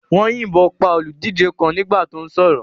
Wọ́n yìnbọn pa olùdíje kan nígbà tó sọ̀rọ̀.